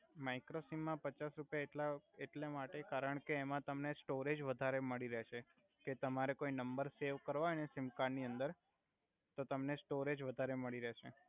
micro સિમમાં પચાસ રુપિયા એટ્લા એટલા માટે કારણ કે એમા તમને સ્ટોરેજ વધારે મડી રેહ્સે કે તમારે કોઈ નમ્બર સેવ કરવા હોઇ ને એ કાર્ડ ની અંદર તો તમને સ્ટોરેજ વધારે મડી રેહ્સે